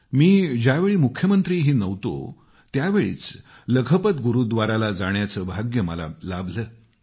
मी ज्यावेळी मुख्यमंत्रीही नव्हतो त्यावेळीच लखपत गुरूव्दाराला जाण्याचे भाग्य मला लाभलं